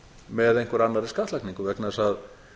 með einhverri annarri skattlagningu vegna þess að